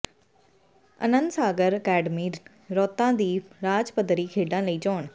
ਅਨੰਦ Sagar academy ਰੌਾਤਾ ਦੀ ਰਾਜ ਪੱਧਰੀ ਖੇਡਾਂ ਲਈ ਚੋਣ